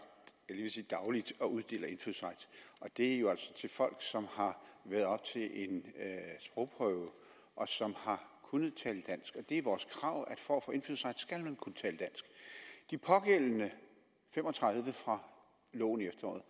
jeg ved at sige dagligt og uddeler indfødsret og det er jo altså til folk som har været oppe til en sprogprøve og som har kunnet tale dansk det er vores krav at for at få indfødsret skal man kunne tale dansk de pågældende fem og tredive fra loven i efteråret